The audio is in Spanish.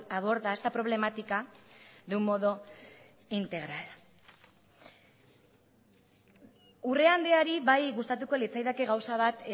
aborda esta problemática de un modo integral urrea andreari bai gustatuko litzaidake gauza bat